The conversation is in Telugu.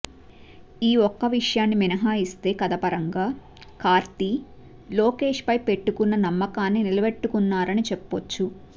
ఈ ఒక్క విషయాన్ని మినహాయిస్తే కథ పరంగా కార్తీ లోకేష్ పై పెట్టుకున్న నమ్మకాన్ని నిలబెట్టుకున్నారని చెప్పొచ్చు